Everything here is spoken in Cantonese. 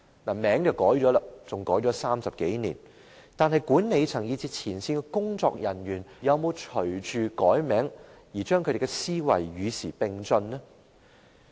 名稱更改了30多年，但管理層以至前線工作人員，又有否隨着改名而把思維與時並進呢？